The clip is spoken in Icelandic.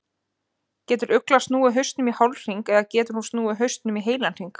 Getur uglan snúið hausnum í hálfhring eða getur hún snúið hausnum í heilan hring?